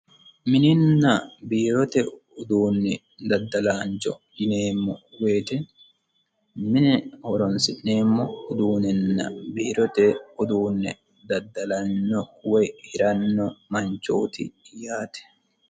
mininna biirote uduunni daddalaancho yineemmo woyiti mine horonsi'neemmo uduunninna biirote uduunni daddalanyo woy hiranno manchooti yaate